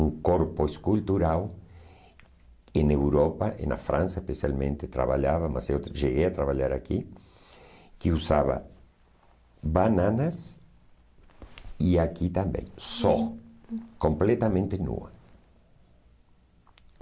um corpo escultural, em Europa, na França especialmente, trabalhava, mas eu cheguei a trabalhar aqui, que usava bananas e aqui também, só, completamente nua.